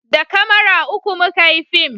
da kamara uku muka yi fim